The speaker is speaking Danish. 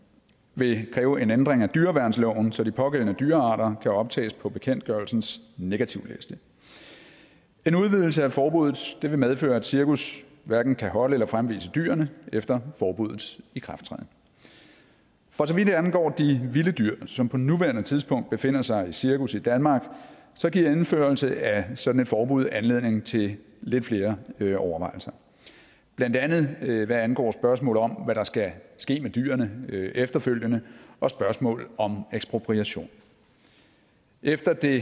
vil kræve en ændring af dyreværnsloven så de pågældende dyrearter kan optages på bekendtgørelsens negativliste en udvidelse af forbuddet vil medføre at cirkus hverken kan holde eller fremvise dyrene efter forbuddets ikrafttræden for så vidt angår de vilde dyr som på nuværende tidspunkt befinder sig i cirkus i danmark giver indførelse af et sådant forbud anledning til lidt flere overvejelser blandt andet hvad angår spørgsmålet om hvad der skal ske med dyrene efterfølgende og spørgsmålet om ekspropriation efter det